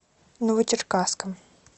новочеркасском